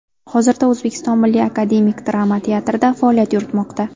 Hozirda O‘zbekiston Milliy akademik drama teatrida faoliyat yuritmoqda.